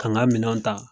K'an ka minɛn ta